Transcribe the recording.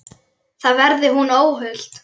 Þar verði hún óhult.